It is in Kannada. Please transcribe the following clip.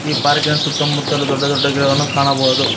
ಈ ಪಾರ್ಕಿನ ಸುತ್ತಮುತ್ತಲು ದೊಡ್ಡ ಗಿಡಗಳನ್ನು ಕಾಣಬಹುದು.